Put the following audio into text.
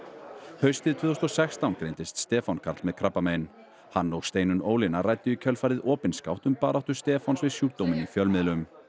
haustið tvö þúsund og sextán greindist Stefán Karl með krabbamein hann og Steinunn Ólína ræddu í kjölfarið opinskátt um baráttu Stefáns við sjúkdóminn í fjölmiðlum